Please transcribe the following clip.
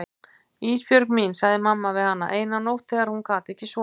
Ísbjörg mín, sagði mamma við hana eina nótt þegar hún gat ekki sofið.